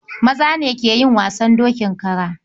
Maza ne ke yin wasan dokin kara.